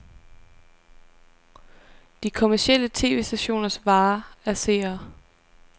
De kommercielle tv-stationers vare er seere.